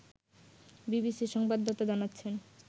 বিবিসির সংবাদদাতা জানাচ্ছেন